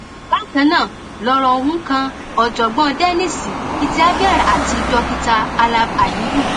bákan náà lọrọ ohun kan ọjọgbọn dennis ityavyar àti dókítà alam aliyu